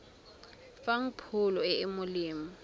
fang pholo e e molemo